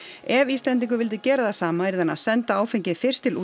ef Íslendingur vildi gera það sama yrði hann að senda áfengið fyrst til